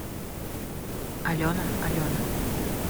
алена алена